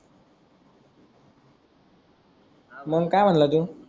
मग काय म्हणला तोय हव